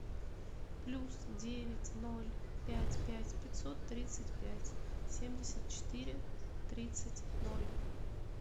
плюс девять ноль пять пять пятьсот тридцать пять семьдесят четыре тридцать ноль